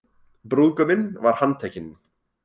Brúðguminn var handtekinn